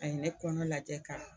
A ye ne kɔnɔ lajɛ ka